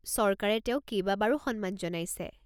চৰকাৰে তেওঁক কেইবাবাৰো সন্মান জনাইছে।